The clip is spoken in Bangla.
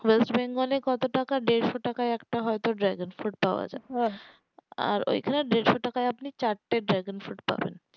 ওয়েস্ট বেঙ্গল এ কত টাকা দেড়শো টাকা হয়তো একটা dragon fruit পাওয়া যাই আর ওই খানে আপনি দেড়শো টাকায় চারটে dragon fruit পাবেন